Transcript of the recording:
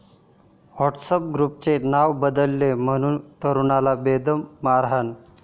WhatsApp ग्रुपचं नावं बदललं म्हणून तरुणाला बेदम मारहाण